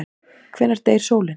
Hvenær deyr sólin?